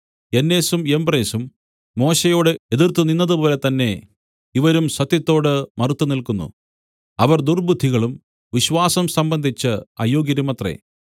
യന്നേസും യംബ്രേസും മോശെയോട് എതിർത്തുനിന്നതുപോലെ തന്നെ ഇവരും സത്യത്തോട് മറുത്തുനില്‍ക്കുന്നു അവർ ദുർബ്ബുദ്ധികളും വിശ്വാസം സംബന്ധിച്ച് അയോഗ്യരുമത്രേ